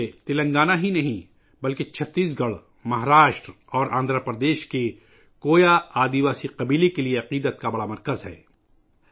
یہ نہ صرف تلنگانہ بلکہ چھتیس گڑھ، مہاراشٹر اور آندھرا پردیش کی کویا قبائلی برادری کے لئے بھی عقیدے کا ایک بڑا مرکز ہے